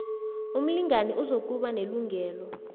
umlingani uzokuba nelungelo